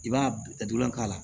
I b'a datugulan k'a la